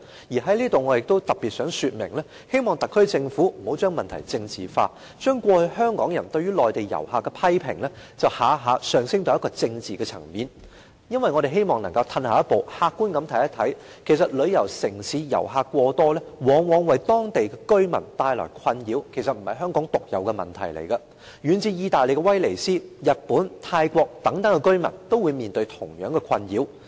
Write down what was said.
我在此特別想說明，希望特區政府不要將問題政治化，將過去香港人對於內地遊客的批評，一概提升至政治層面，因為我們希望能夠退後一步，客觀地看一看，其實旅遊城市遊客過多，往往為當地居民帶來困擾，這並不是香港獨有的問題，遠至意大利的威尼斯、日本、泰國等地的居民也面對同樣的困擾。